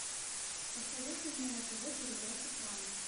посоветуй мне на тв передачу пранк